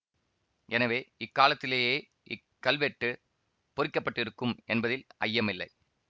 எனவே இக்காலத்திலேயே இக்கல்வெட்டு பொறிக்க பட்டிருக்கும் என்பதில் ஐயமில்லை